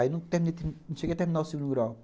Aí, não cheguei a terminar o segundo grau.